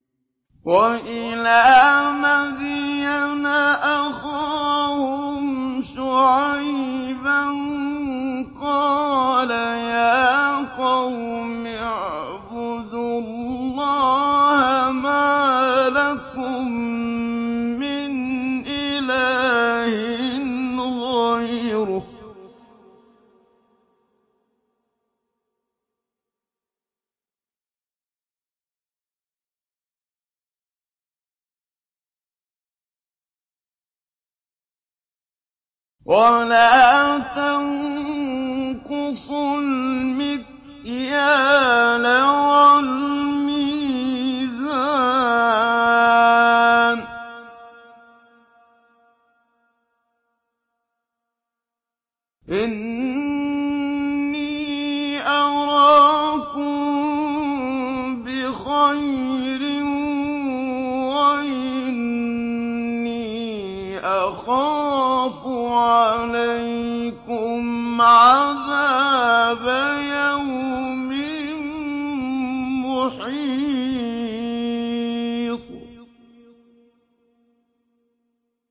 ۞ وَإِلَىٰ مَدْيَنَ أَخَاهُمْ شُعَيْبًا ۚ قَالَ يَا قَوْمِ اعْبُدُوا اللَّهَ مَا لَكُم مِّنْ إِلَٰهٍ غَيْرُهُ ۖ وَلَا تَنقُصُوا الْمِكْيَالَ وَالْمِيزَانَ ۚ إِنِّي أَرَاكُم بِخَيْرٍ وَإِنِّي أَخَافُ عَلَيْكُمْ عَذَابَ يَوْمٍ مُّحِيطٍ